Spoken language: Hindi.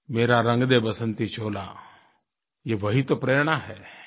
मेरा रंग दे बसंती चोला ये वही तो प्रेरणा है